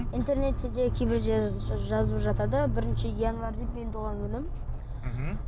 интернетте де кейбір жер жазып жатады бірінші январь деп менің туған күнім мхм